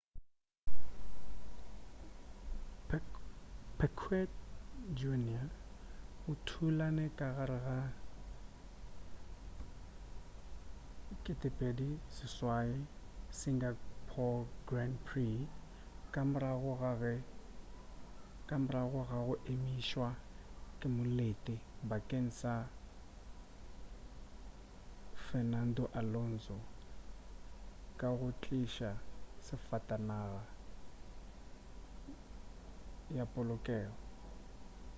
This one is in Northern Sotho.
piquet jr o thulane ka gare ga 2008 singapore grand prix ka morago ga go emišwa ke molete bakeng sa fernando alonso ka go tliša safatanaga ya polokego